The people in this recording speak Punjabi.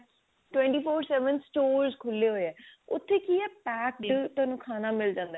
twenty four seven store ਖੁੱਲੇ ਹੋਏ ਆ ਉੱਥੇ ਕੀ ਆ packed ਥੋਨੂੰ ਖਾਣਾ ਮਿਲ ਜਾਂਦਾ